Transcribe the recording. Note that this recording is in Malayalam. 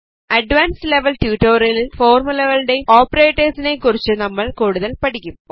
അഡ്വാൻസ്ഡ് ലെവൽ ട്യൂട്ടോറിയലിൽ ഫോർമുലകളേയും ഓപ്പറേറ്റേർസിനേയും കുറിച്ച് നമ്മൾ കൂടുതൽ പഠിക്കും